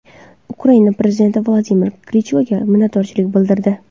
Ukraina prezidenti Vladimir Klichkoga minnatdorchilik bildirdi.